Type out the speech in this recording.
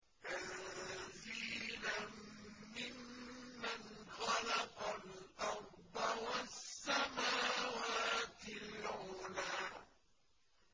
تَنزِيلًا مِّمَّنْ خَلَقَ الْأَرْضَ وَالسَّمَاوَاتِ الْعُلَى